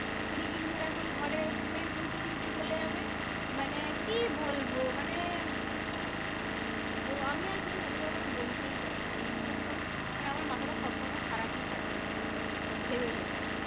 কুড়ি দিন ধরে এখন ঘরে সিমেন্ট ধুইতে ধুইতে চলে যাবে। মানে কি বলবো? মানে আমি আর কিছু ওদের ব্যাপারে বলতেই চাচ্ছিনা বিশ্বাস করো। মানে আমার মাথাটা সবসময় খারাপই থাকে এই সেই এইসব ভেবে ভেবে।